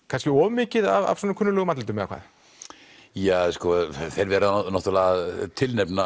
kannski of mikið af kunnuglegum andlitum eða hvað ja sko þeir verða náttúrulega að tilnefna